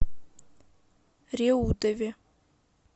реутове